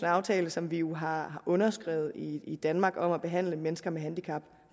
aftale som vi jo har underskrevet i i danmark om at behandle mennesker med handicap